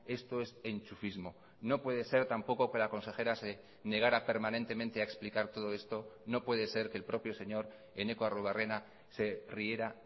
esto es enchufismo no puede ser tampoco que la consejera se negara permanentemente a explicar todo esto no puede ser que el propio señor eneko arruebarrena se riera